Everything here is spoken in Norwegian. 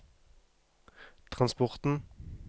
transporten